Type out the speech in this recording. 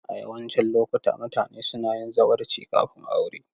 A yawancin lokuta, mutane suna yin zawarci kafin aure.